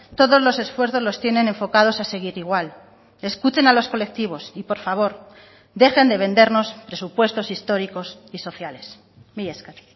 todos los esfuerzos los tienen enfocados a seguir igual escuchen a los colectivos y por favor dejen de vendernos presupuestos históricos y sociales mila esker